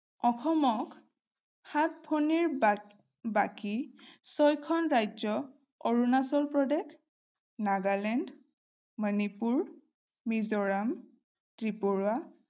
অসমক সাতভনীৰ বা বাকী ছয়খন ৰাজ্য অৰুণাচল প্ৰদেশ, নাগালেণ্ড, মণিপুৰ, মিজোৰাম, ত্ৰিপুৰা